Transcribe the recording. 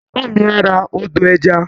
Bàbá mi á ra ọdọ̀-ẹja